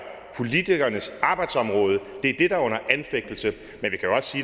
politikernes arbejdsområde der er under anfægtelse